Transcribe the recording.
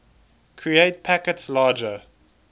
create packets larger